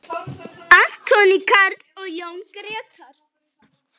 Anthony Karl og Jón Gretar.